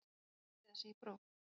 Hverjir þurfa að girða sig í brók?